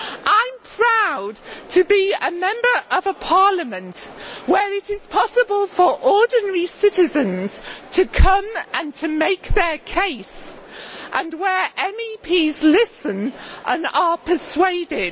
I am proud to be a member of a Parliament where it is possible for ordinary citizens to come and to make their case and where MEPs listen and are persuaded.